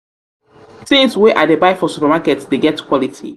tins wey i dey buy for supermarket dey get quality.